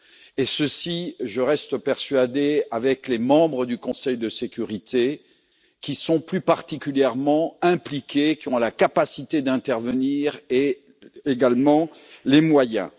Et ceci, je reste persuadé, avec les membres du Conseil de sécurité qui sont plus particulièrement impliqués, qui ont la capacité d'intervenir et également les moyens.